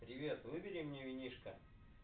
привет выбери мне винишко